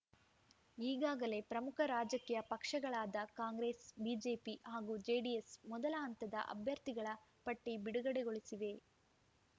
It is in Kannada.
ಈಗಾಗಲೇ ಪ್ರಮುಖ ರಾಜಕೀಯ ಪಕ್ಷಗಳಾದ ಕಾಂಗ್ರೆಸ್‌ ಬಿಜೆಪಿ ಹಾಗೂ ಜೆಡಿಎಸ್‌ ಮೊದಲ ಹಂತದ ಅಭ್ಯರ್ಥಿಗಳ ಪಟ್ಟಿಬಿಡುಗಡೆಗೊಳಿಸಿವೆ